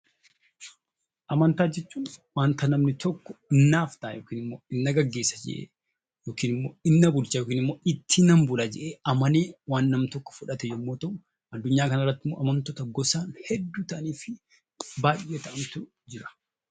Amantaa jechuun waan namni tokko naaf ta'a jedhee, na gaggeessa jedhee, ittiinan bula jedhee, amanee waan namni tokko fudhate yammuu ta'uu; addunyaa kana irratti immoo amantii gosa hedduu ta'anii fi baayyee ta'antu jira.